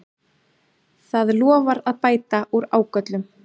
Það lofar að bæta úr ágöllum